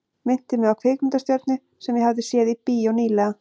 Minnti mig á kvikmyndastjörnu sem ég hafði séð í bíó ný- lega.